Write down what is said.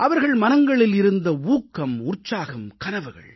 அவர்கள் மனங்களில் இருந்த ஊக்கம் உற்சாகம் கனவுகள்